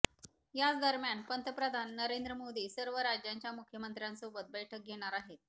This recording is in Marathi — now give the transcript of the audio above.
याच दरम्यान पंतप्रधान नरेंद्र मोदी सर्व राज्यांच्या मुख्यमंत्र्यांसोबत बैठक घेणार आहेत